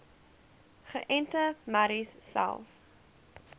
geënte merries selfs